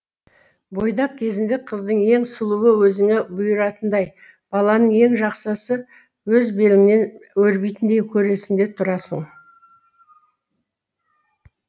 бойдақ кезінде қыздың ең сұлуы өзіңе бұйыратындай баланың ең жақсысы өз беліңнен өрбитіндей көресің де тұрасың